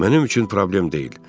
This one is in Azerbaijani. Mənim üçün problem deyil.